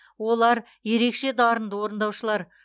олар ерекше дарынды орындаушылар